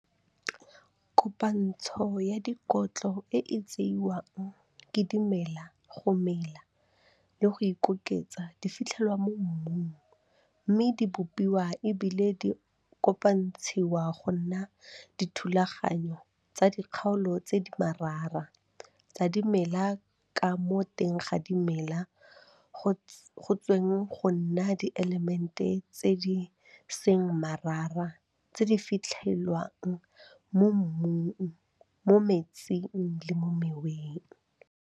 Kopantsho ya dikotlo e e tseiwang ke dimela go mela le go ikoketsa di fitlhelwa mo mmung mme di bopiwa e bile di kopantshiwa go nna dithulaganyo tsa dikgaolo tse di marara tsa dimela ka mo teng ga dimela go ts go tsweng go nna dielemente tse di seng marara tse di fitlhewang mo mmung, mo metsing le mo moweng.